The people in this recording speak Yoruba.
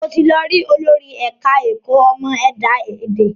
Mo ti lọ rí olórí ẹ̀ka ẹ̀kọ́ ìmọ̀ ẹ̀dá èdè